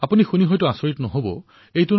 এই কথা শুনি আপোনালোক আচৰিত হোৱা নাই